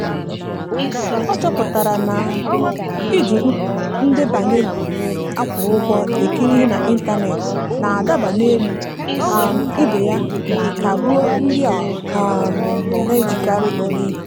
ọ chọpụtara na iji ndebanye a kwụrụ ụgwọ ekiri ihe n'ịntanet na-adaba n'elu um ibe ya ma ka gbuo ndị ọ um naghị ejikarị eme ihe.